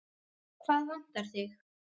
Hvað vantar þig?